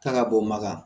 K'a ka bɔ maga